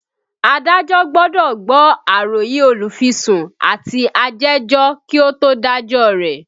Adájọ́ gbọ́dọ̀ gbọ́ àròyé olùfisùn àti ajẹ́jọ́ kí ó tó dájọ́ rẹ̀